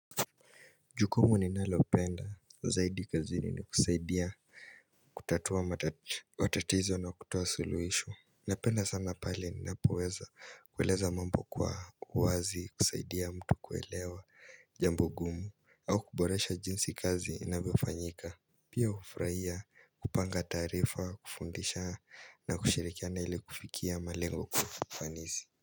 Jukumu ninalopenda zaidi kazini ni kusaidia kutatua matatizo na kutoa suluhisho Napenda sana pale ninapoweza kueleza mambo kwa uwazi kusaidia mtu kuelewa jambo ngumu au kuboresha jinsi kazi inavyofanyika Pia kufrahia kupanga taarifa kufundisha na kushirikiana ile kufikia malengo ya ufanisi.